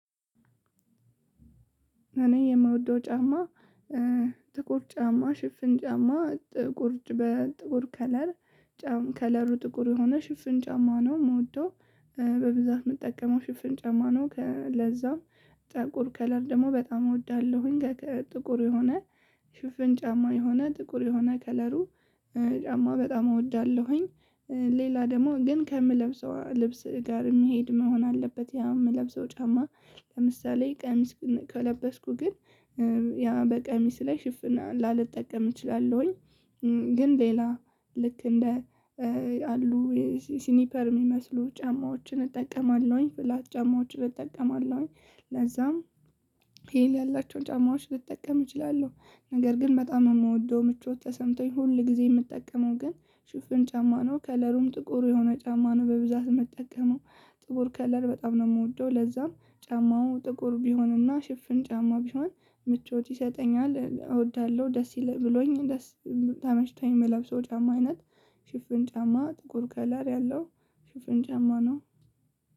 እኔ የምወደው ጫማ ጥቁር ጫማ ሽፍን ጫማ ጥቁር በጥቁር ከለር 'ከለሩ' ጥቁር የሆነ ሽፍን ጫማ ነው የምወደው በብዛት የምጠቀመው ሽፍን ጫማ ነው ከ ለዛ ጥቁር 'ከለር' ደግሞ በጣም እወዳለሁኝ። ጥቁር የሆነ ሽፍን ጫማ የሆነ ጥቁር የሆነ 'ከለሩ' ጫማ በጣም እወዳለሁኝ። ሌላ ደግሞ ግን ከምለብሰው ልብስ ጋር የሚሄድ መሆን አለበት ያ የምለብሰው ጫማ። ለምሳሌ ቀሚስ ከለበስኩ ግን ያ በቀሚስ ላይ ሽፍን ላልጠቀም እችላለሁኝ። 'ከለሩ' ጥቁር የሆነ ሽፍን ጫማ ነው የምወደው በብዛት የምጠቀመው ሽፍን ጫማ ነው ከ ለዛ ጥቁር 'ከለር' ደግሞ በጣም እወዳለሁኝ። ጥቁር የሆነ ሽፍን ጫማ የሆነ ጥቁር የሆነ 'ከለሩ' ጫማ በጣም እወዳለሁኝ። አሉ ሲኒፐር የሚመስሉ ጫማዎችን እጠቀማለሁኝ 'ፍላት' ጫማዎችን እጠቀማለሁኝ። ለዛም 'ሂል' ያላቸው ጫማዎች ልጠቀም እችላለሁ። ነገር ግን በጣም የምወደው ምቾት ተሰምቶኝ ሁል ጊዜ የምጠቀመው ግን ሽፍን ጫማ ነው። 'ከለሩም' ጥቁሩ የሆነ ጫማ ነው በብዛት የምጠቀመው ጥቁር 'ከለር' በጣም ነው የምወደው። ለዛም ጫማው ጥቁር ቢሆንና ሽፍን ጫማ ቢሆን ምቾት ይሰጠኛል እወዳለሁ ደስ ብሎኝ ደስ ተመችቶኝ የምለብሰው የጫማ አይነት ሽፍን ጫማ ጥቁር 'ከለር' ያለው ሽፍን ጫማ ነው።